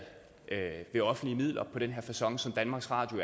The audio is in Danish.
med offentlige midler på den facon som danmarks radio